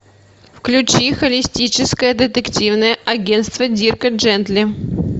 включи холистическое детективное агентство дирка джентли